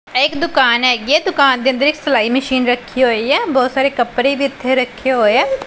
ਇਕ ਦੁਕਾਨ ਹੈਗੀ ਦੁਕਾਨ ਦੇ ਅੰਦਰ ਇੱਕ ਸਿਲਾਈ ਮਸ਼ੀਨ ਰੱਖੀ ਹੋਈ ਹ ਬਹੁਤ ਸਾਰੇ ਕੱਪੜੇ ਵੀ ਇੱਥੇ ਰੱਖੇ ਹੋਏ ਆ।